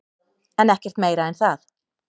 En ekkert meira en það.